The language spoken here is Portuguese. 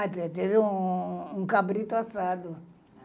Ah, teve um um cabrito assado.